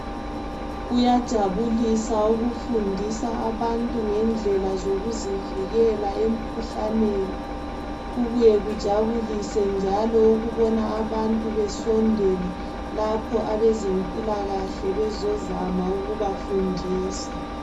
Kuyajabulisa ukufundisa abantu ngendlela zokuzivikela emikhuhlaneni kubuye kujabulise ukubona abantu besondela lapho abeze mpilakahle bezozama ukubafundisa